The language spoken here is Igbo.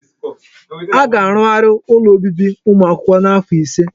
Aga arugharị ụlọ obibi ụmụ akwụkwọ n'afọ ise.